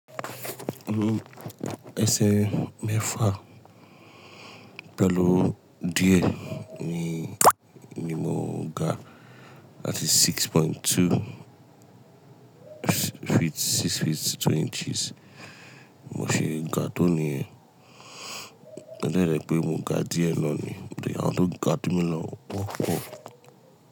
Esè mẹ́fà pẹ̀lú díẹ̀ ni, ni mo ga láti six point two feet, six feet two inches. Mo ṣe ga tóní e, ó jẹ́rẹ́ pé mo ga díẹ̀ lọ ní then awọn to ga ju mi lo o po.